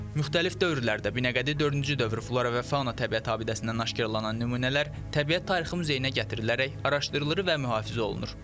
Müxtəlif dövrlərdə Binəqədi dördüncü dövr flora və fauna təbiət abidəsindən aşkarlanan nümunələr təbiət tarixi muzeyinə gətirilərək araşdırılır və mühafizə olunur.